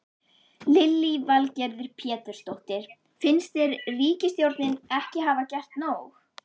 Lillý Valgerður Pétursdóttir: Finnst þér ríkisstjórnin ekki hafa gert nóg?